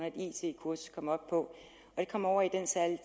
et it kursus kommer op på det kommer over i den særlige